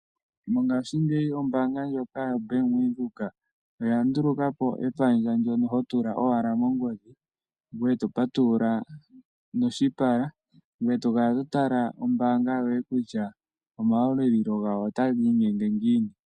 Mongaashingeyi ombaanga yo Bank Windhoek oya nduluka po epandja ndyono hotula owala mongodhi ngoye eto patulula noshipala. Ngoye eto kala to tala ombaanga yoye kutya omayalulo gawo otaga inyenge ngiini.